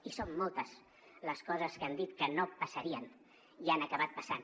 i són moltes les coses que han dit que no passarien i han acabat passant